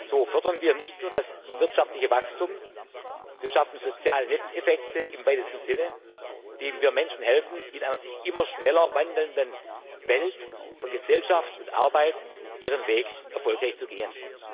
So fördern wir nicht nur das wirtschaftliche Wachstum, sondern wir schaffen auch soziale Nutzeffekte im weitesten Sinne, indem wir den Menschen helfen, in einer sich immer schneller wandelnden Welt von Gesellschaft und Arbeit ihren Weg erfolgreich zu gehen.